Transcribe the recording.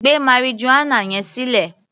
Gbé marijuana yẹn sílẹ̀!